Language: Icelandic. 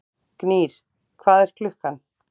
Gnýr, hvað er klukkan?